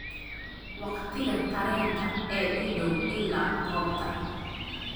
waqtiga tareenka ee ii dhow ilaa goobta